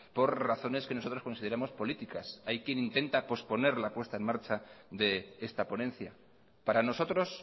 por razones que nosotros consideramos políticas hay quien intenta posponer la puesta en marcha de esta ponencia para nosotros